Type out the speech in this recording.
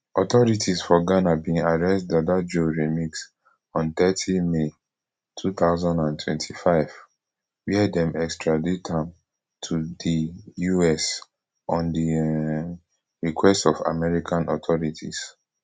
authorities for ghana bin arrest dada joe remix on thirty may two thousand and twenty-five wia dem extradite am to di us on di um request of american authorities